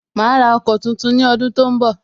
Ma ra ọkọ̀ tuntun ni ọdun tó ń bọ̀